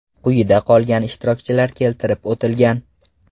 Quyida qolgan ishtirokchilar keltirib o‘tilgan.